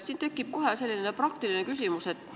Siin tekib kohe selline praktiline küsimus.